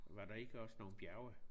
Var der ikke også nogle bjerge?